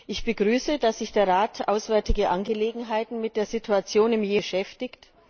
Ich begrüße, dass sich der Rat Auswärtige Angelegenheiten mit der Situation im Jemen beschäftigt.